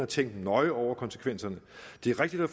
tænkt nøje over konsekvenserne det er rigtigt at